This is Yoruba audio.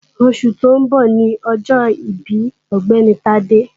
Oṣù tó ń bọ̀ ni ọjọ́ ìbí Ọ̀gbẹ́ni Tádé